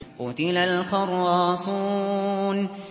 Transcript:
قُتِلَ الْخَرَّاصُونَ